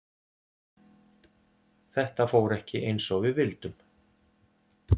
Þetta fór ekki eins og við vildum.